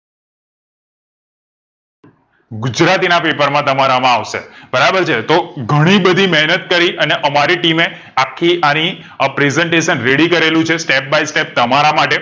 ગુજરાતી ના paper માં તમારામાં આવશે બરાબર છે તો ઘણી બધી મહેનત કરી અને અમારી team મેં આખી આની a presentation ready કરેલું છે step by step તમારા માટે